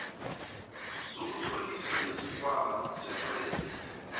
sokuzitlolisa nesikhwama setjhorensi